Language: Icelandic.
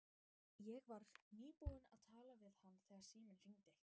Ég var nýbúin að tala við hann þegar síminn hringdi.